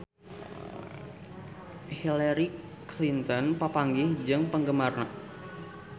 Hillary Clinton papanggih jeung penggemarna